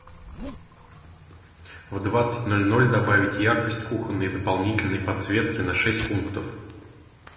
в двадцать ноль ноль добавить яркость кухонной дополнительной подсветки на шесть пунктов